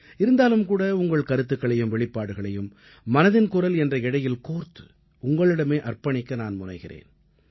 இருந்தாலும் கூட உங்கள் கருத்துக்களையும் வெளிப்பாடுகளையும் மனதின் குரல் என்ற இழையில் கோர்த்து உங்களிடமே அர்ப்பணிக்க நான் முனைகிறேன்